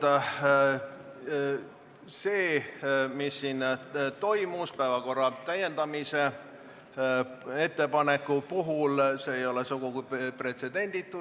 Ja see, mis toimus siin päevakorra täiendamise ettepaneku puhul, ei ole sugugi pretsedenditu.